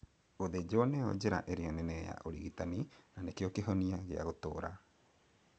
Gũthĩnjwo nĩyo njĩra ĩrĩa nene ya ũrigitani, na nokĩo kĩhonia kĩrĩa gia gũtũra